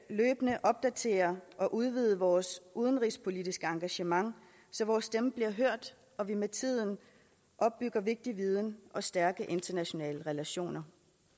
opdatere og udvide vores udenrigspolitiske engagement så vores stemme bliver hørt og vi med tiden opbygger vigtig viden og stærke internationale relationer